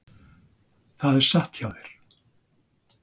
Það er satt hjá þér.